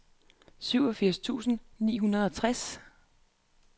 syvogfirs tusind ni hundrede og tres